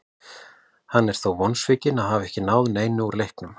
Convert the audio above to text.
Hann er þó vonsvikinn að hafa ekki náð neinu úr leiknum.